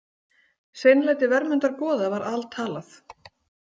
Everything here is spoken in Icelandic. Seinlæti Vermundar goða var altalað.